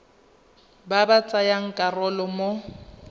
ba ba tsayang karolo mo